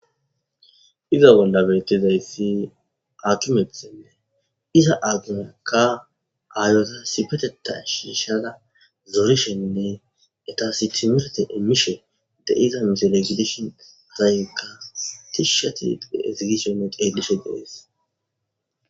Iza bollabeyttizayssi atumeththenne iza aatumekka aayota sipeteta shiishada zorishenne etasi timirete emmishe deiza misal egidishon zaayekka tishshati ezigisiyone qeelishe deees.